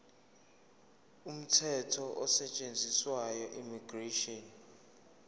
umthetho osetshenziswayo immigration